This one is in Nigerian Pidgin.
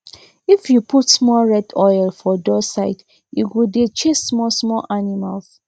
if you put small red oil for door side e go dey chase small small animals